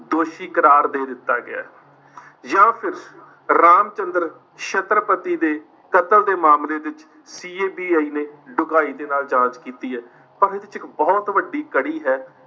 ਦੋਸ਼ੀ ਕਰਾਰ ਦੇ ਦਿੱਤਾ ਗਿਆ ਹੈ, ਜਾਂ ਫਿਰ ਰਾਮਚੰਦ੍ਰ ਛੱਤਰਪਤੀ ਦੇ ਕਤਲ ਦੇਮਾਮਲੇ ਵਿੱਚ CBI ਨੇ ਡੂੰਘਾਈ ਦੇ ਨਾਲ ਜਾਂਚ ਕੀਤੀ ਹੈ। ਪਰ ਇਹਦੇ ਵਿੱਚ ਇੱਕ ਬਹੁਤ ਵੱਡੀ ਕੜੀ ਹੈ